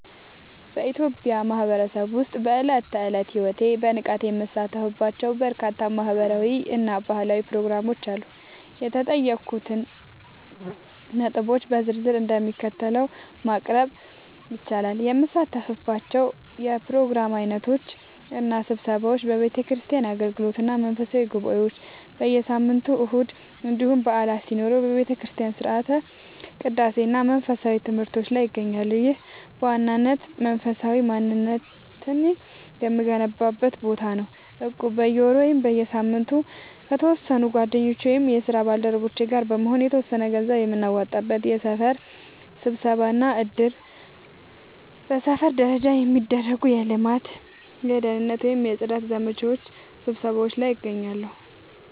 በኢትዮጵያ ማህበረሰብ ውስጥ በዕለት ተዕለት ሕይወቴ በንቃት የምሳተፍባቸው በርካታ ማህበራዊ እና ባህላዊ ፕሮግራሞች አሉ። የተጠየቁትን ነጥቦች በዝርዝር እንደሚከተለው ማቅረብ ይቻላል፦ የምሳተፍባቸው የፕሮግራም ዓይነቶች እና ስብሰባዎች፦ የቤተክርስቲያን አገልግሎቶች እና መንፈሳዊ ጉባኤዎች፦ በየሳምንቱ እሁድ እንዲሁም በዓላት ሲኖሩ በቤተክርስቲያን ሥርዓተ ቅዳሴ እና መንፈሳዊ ትምህርቶች ላይ እገኛለሁ። ይህ በዋናነት መንፈሳዊ ማንነቴን የምገነባበት ቦታ ነው። እቁብ፦ በየወሩ ወይም በየሳምንቱ ከተወሰኑ ጓደኞቼ ወይም የስራ ባልደረቦቼ ጋር በመሆን የተወሰነ ገንዘብ የምናዋጣበት። የሰፈር ስብሰባዎች እና እድር፦ በሰፈር ደረጃ የሚደረጉ የልማት፣ የደህንነት ወይም የጽዳት ዘመቻ ስብሰባዎች ላይ እገኛለሁ።